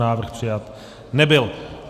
Návrh přijat nebyl.